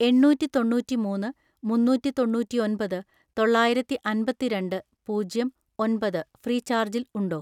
എണ്ണൂറ്റിതൊണ്ണൂറ്റിമൂന്ന് മുന്നൂറ്റിതൊണ്ണൂറ്റിഒൻപത് തൊള്ളായിരത്തിഅൻപത്തിരണ്ട് പൂജ്യം ഒൻപത് ഫ്രീചാർജിൽ ഉണ്ടോ?